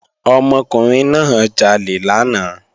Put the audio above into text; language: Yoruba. Ọmọkùnrin náà jalè lánàá